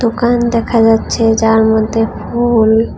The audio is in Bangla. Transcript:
কান দেখা যাচ্ছে যার মধ্যে ফুল।